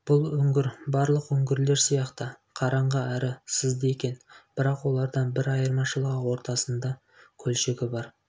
бұл үңгір барлық үңгірлер сияқты қараңғы әрі сызды екен бірақ олардан бір айырмашылығы ортасында көлшігі бар